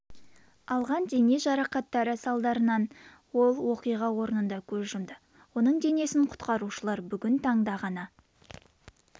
алған дене жарақаттары салдарынан ол оқиға орнында көз жұмды оның денесін құтқарушылар бүгін таңда ғана